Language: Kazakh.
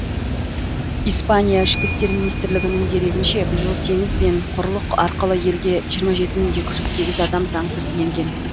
испания ішкі істер министрлігінің дерегінше биыл теңіз бен құрлық арқылы елге жиырма жеті мың екі жүз сегіз адам заңсыз енген